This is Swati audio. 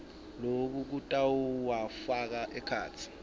loku kutawufaka ekhatsi